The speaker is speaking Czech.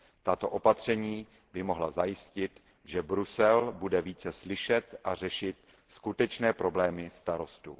Tato opatření by mohla zajistit, že Brusel bude více slyšet a řešit skutečné problémy starostů.